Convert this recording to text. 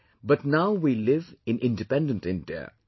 " But now we live in independent India